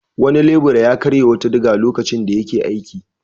Wani lebura ya karya wata diga lokacin da yake aiki.